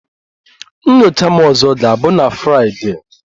Nyocha m ọzọ ga-abụ na Fraịdee